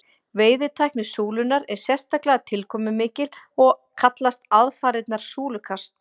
veiðitækni súlunnar er sérstaklega tilkomumikil og kallast aðfarirnar súlukast